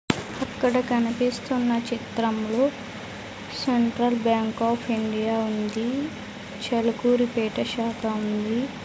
అక్కడ కనిపిస్తున్న చిత్రంలో సెంట్రల్ బ్యాంక్ ఆఫ్ ఇండియా ఉంది చెలుకూరిపేట శాఖ ఉంది.